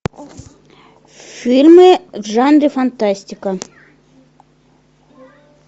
фильмы в жанре фантастика